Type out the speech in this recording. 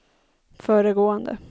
föregående